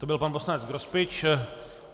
To byl pan poslanec Grospič.